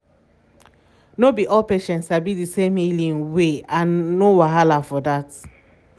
no be all patients sabi di same healing way and no wahala for for dat!